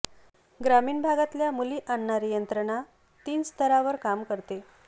ग्रामीण भागातल्या मुली आणणारी यंत्रणा तीन स्तरांवर काम करते